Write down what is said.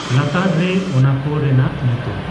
ᱞᱟᱛᱟᱨ ᱨᱮ ᱚᱱᱟ ᱠᱚ ᱨᱮᱱᱟᱜ ᱧᱩᱛᱩᱢᱺ